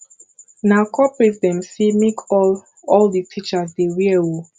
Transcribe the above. na corporate dem sey make all all di teachers dey wear o